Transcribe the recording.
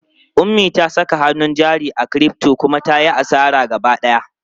Ummi ta saka hannun jari a crypto kuma ta yi asara gaba ɗaya.